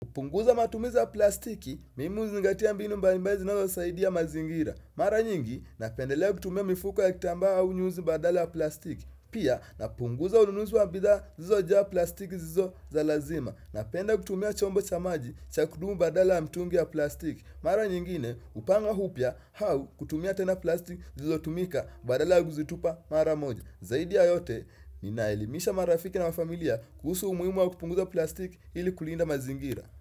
Kupunguza matumizi ya plastiki, mimi huzingatia mbinu mbali mbali zinazosaidia mazingira. Mara nyingi, napendelea kutumia mifuko ya kitamba au nyuzi badala ya plastiki. Pia, napunguza ununuzi wa bidhaa zilizo jaa plastiki zisizo za lazima. Napenda kutumia chombo cha maji cha kudumu badala ya mtungi ya plastiki. Mara nyingine, hupanga upya au kutumia tena plastic zilizo tumika badala ya kuzitupa mara moja. Zaidi ya yote, ninaelimisha marafiki na wanafamilia kuhusu umuhimu wa kupunguza plastiki ili kulinda mazingira.